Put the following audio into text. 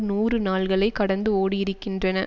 நூறு நாள்களை கடந்து ஓடியிருக்கின்றன